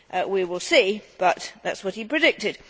We will see, but that is what he predicted.